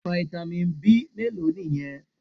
Fitamin B mélòó nìyẹn?